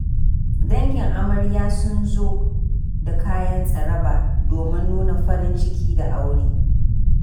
Dangin amarya sun zo da kayan tsaraba domin nuna farin ciki da aure.